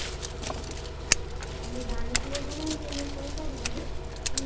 ତମେ ଜାଣିଥିବ କି ନାଇଁ ମୁଁ କହିପାରିବିନି କିନ୍ତୁ